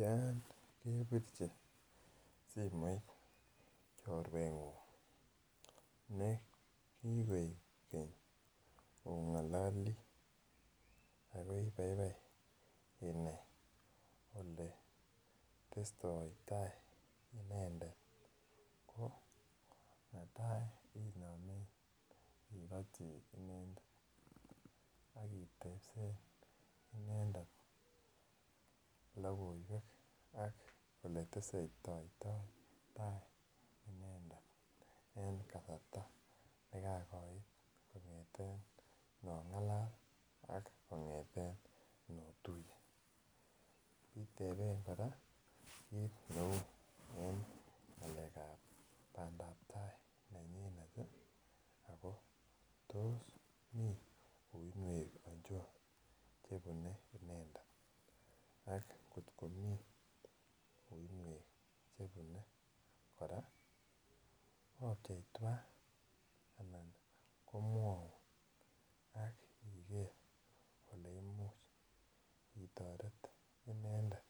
Yon kepirchi simoit chorwengung nekikoib Keny ongololi ako ibaibai inai oletestoi tai inendet netai inomen ikoti inendet ak itesen inendet lokoiwek ak ole tesetoito tai inendet en kasarta nekagoit kongeten nongalal an kongeten notuye itepen koraa kit neu en pandap tai nenyunet tii Ako tos mii uinuek ochon chebune inendet ak kotko mii uinuek chebun koraa opchei twan anan komwou ak ikere ole imuch itoretite inendet